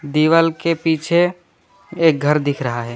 दीवाल के पीछे एक घर दिख रहा है।